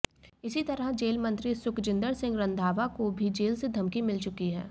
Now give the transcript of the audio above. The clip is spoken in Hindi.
इसी तरह जेल मंत्री सुखजिंदर सिंह रंधावा को भी जेल से धमकी मिल चुकी है